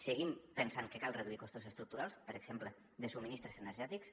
seguim pensant que cal reduir costos estructurals per exemple de subministraments energètics